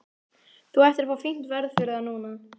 Þú ættir að fá fínt verð fyrir það núna.